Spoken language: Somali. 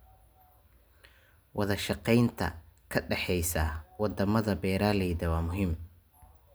Wadashaqeynta ka dhaxaysa wadamada beeralayda waa muhiim.